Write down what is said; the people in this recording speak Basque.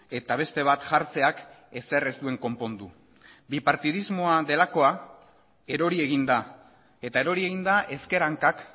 eta beste bat jartzeak ezer ez duen konpondu bipartidismoa delakoa erori egin da eta erori egin da ezker hankak